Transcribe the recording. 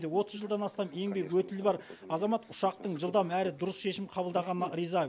отыз жылдан астам еңбек өтілі бар азамат ұшақтың жылдам әрі дұрыс шешім қабылдағанына риза